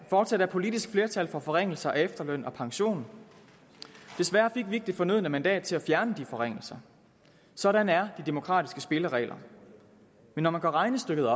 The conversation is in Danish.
fortsat er politisk flertal for forringelser af efterløn og pension desværre fik vi ikke det fornødne mandat til at fjerne de forringelser sådan er de demokratiske spilleregler men når man gør regnestykket